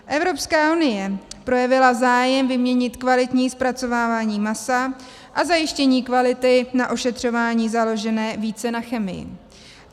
Evropská unie projevila zájem vyměnit kvalitní zpracovávání masa a zajištění kvality na ošetřování založené více na chemii.